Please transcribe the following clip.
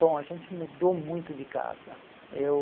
Bom, a gente mudou muito de casa. Eu